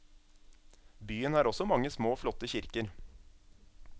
Byen har også mange små flotte kirker.